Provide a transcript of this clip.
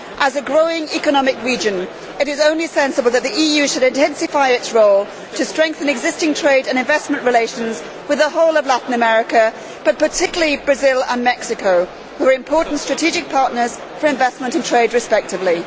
As Latin America is a growing economic region, it is only sensible that the EU should intensify its role to strengthen existing trade and investment relations with the whole of that region, but particularly Brazil and Mexico, which are important strategic partners for investment and trade respectively.